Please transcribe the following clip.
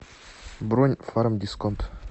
бронь фармдисконт